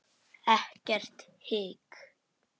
Ekkert hik.